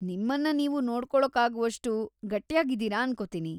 ನಿಮ್ಮನ್ನ ನೀವು ನೋಡ್ಕೊಳೋಕಾಗ್ವಷ್ಟು ಗಟ್ಯಾಗಿದ್ದೀರ ಅನ್ಕೋತೀನಿ.